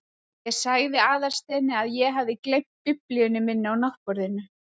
Ég sagði Aðalsteini að ég hefði gleymt biblíunni minni á náttborðinu.